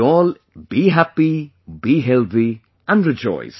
You all be happy, be healthy, and rejoice